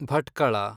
Bhatkal